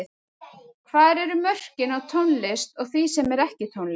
Hvar eru mörkin á tónlist og því sem er ekki tónlist?